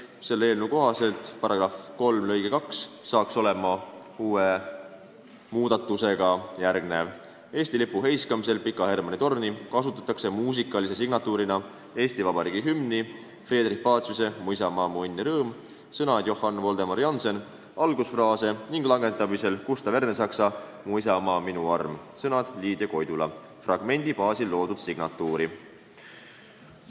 Selle eelnõu kohaselt peaks seaduse § 3 lõige 2 olema järgmine: "Eesti lipu heiskamisel Pika Hermanni torni kasutatakse muusikalise signatuurina Eesti Vabariigi hümni, Friedrich Paciuse "Mu isamaa, mu õnn ja rõõm" algusfraase ning langetamisel Gustav Ernesaksa "Mu isamaa on minu arm" fragmendi baasil loodud signatuuri.